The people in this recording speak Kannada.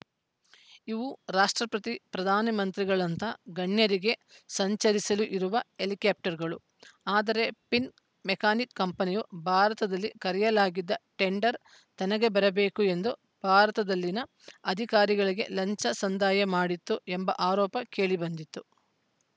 ಇವು ರಾಷ್ಟ್ರಪತಿ ಪ್ರಧಾನಮಂತ್ರಿಗಳಂಥ ಗಣ್ಯರಿಗೆ ಸಂಚರಿಸಲು ಇರುವ ಹೆಲಿಕಾಪ್ಟರ್‌ಗಳು ಆದರೆ ಫಿನ್‌ಮೆಕ್ಯಾನಿಕಾ ಕಂಪನಿಯು ಭಾರತದಲ್ಲಿ ಕರೆಯಲಾಗಿದ್ದ ಟೆಂಡರ್‌ ತನಗೇ ಬರಬೇಕು ಎಂದು ಭಾರತದಲ್ಲಿನ ಅಧಿಕಾರಿಗಳಿಗೆ ಲಂಚ ಸಂದಾಯ ಮಾಡಿತ್ತು ಎಂಬ ಆರೋಪ ಕೇಳಿಬಂದಿತ್ತು